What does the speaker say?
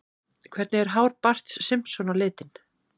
Hvernig er hár Barts Simpson á litinn?